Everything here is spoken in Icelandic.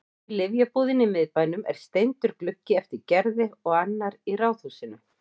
Í lyfjabúðinni í miðbænum er steindur gluggi eftir Gerði og annar í ráðhúsinu.